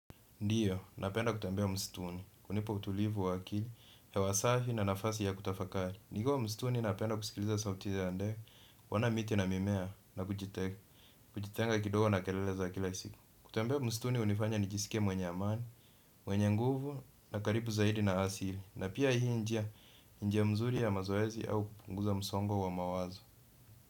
Ndio, napenda kutembea msituni, hunipa utulivu wa akili, hewa safi na nafasi ya kutafakari. Nikiwa msituni napenda kusikiliza sauti ya ndege, kuona miti na mimea na kujitenga kidogo na kelele za kila siku. Kutembea msituni hunifanya nijisike mwenye amani, mwenye nguvu na karibu zaidi na asili. Na pia hii njia, njia mzuri ya mazoezi au kupunguza msongo wa mawazo.